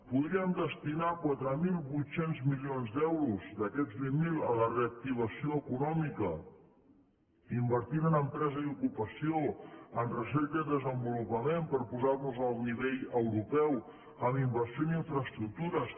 podríem destinar quatre mil vuit cents milions d’euros d’aquests vint miler a la reactivació econòmica invertint en empresa i ocupació en recerca i desenvolupament per posar nos a nivell europeu en inversió en infraestructures